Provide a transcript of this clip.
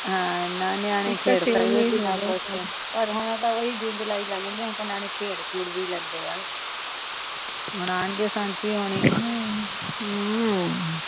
ਹਾਂ ਨਾ ਨਿਆਣੇ ਖੇਡ ਸਕਦੇ ਕਿਨ੍ਹਾ ਕੁਜ ਪਰ ਹੁਣ ਤਾ ਓ ਈ ਜੂਨ, ਜੁਲਾਈ ਲੰਗ ਜਾਂਦੀਆਂ ਹੁਣ ਤਾ ਨਿਆਣੇ ਖੇਡ ਖੂਡ ਵੀ ਲੈਂਦੇ ਆ ਹੁਣ ਆਣਗੇ ਸਾਚੀ ਹੋਣੀ